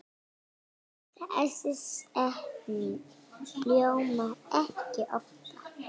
Þessi setning hljómar ekki oftar.